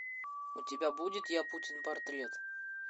у тебя будет я путин портрет